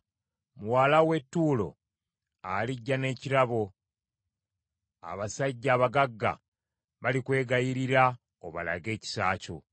Muwala w’e Ttuulo alijja n’ekirabo, abasajja abagagga balikwegayirira obalage ekisa kyo.